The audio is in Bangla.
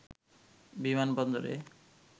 বিমান বন্দরে